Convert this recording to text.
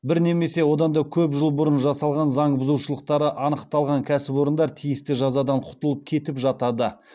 бір немесе одан да көп жыл бұрын жасалған заң бұзушылықтары анықталған кәсіпорындар тиісті жазадан құтылып кетіп жатады